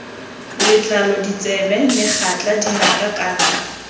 letlalo ditsebe megatla dinaka kana